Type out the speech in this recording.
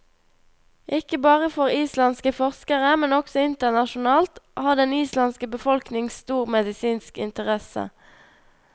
Ikke bare for islandske forskere, men også internasjonalt, har den islandske befolkning stor medisinsk interesse.